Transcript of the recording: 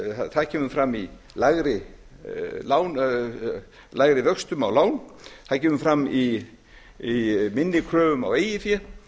það kemur fram í lægri vöxtum á lán það kemur fram í minni kröfum á eigið fé